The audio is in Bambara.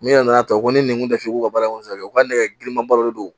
N'i nana ta ko ne ngu tafu ka baara in kɔfɛ u ka nɛgɛ girinmanba dɔ de don